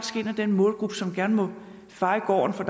den målgruppe som gerne må feje gården for